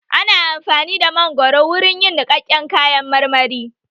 Ana amfani da mangoro wurin yin niƙaken kayan marmari